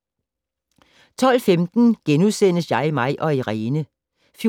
12:15: Jeg, mig & Irene *